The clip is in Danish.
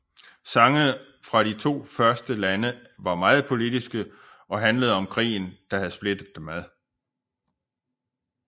Sangene fra de to første lande var meget politiske og handlede om krigen der havde splittet dem ad